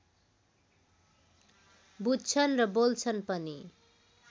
बुझ्छन् र बोल्छन् पनि